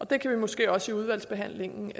kan måske også i udvalgsbehandlingen